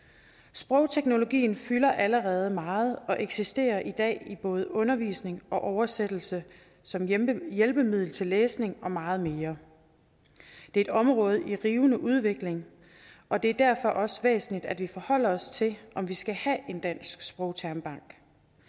sprogteknologien fylder allerede meget og eksisterer i dag i både undervisning og oversættelse som hjælpemiddel hjælpemiddel til læsning og meget mere det er et område i rivende udvikling og det er derfor også væsentligt at vi forholder os til om vi skal have en dansk sprogtermbank